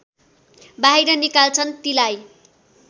बाहिर निकालिन्छन् तीलाई